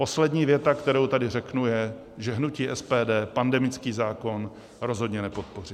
Poslední věta, kterou tady řeknu, je, že hnutí SPD pandemický zákon rozhodně nepodpoří.